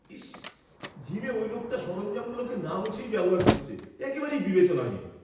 ইস, জিমে ওই লোকটা সরঞ্জামগুলোকে না মুছেই ব্যবহার করছে। একেবারেই বিবেচনাহীন।